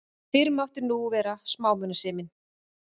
Fyrr mátti nú vera smámunasemin!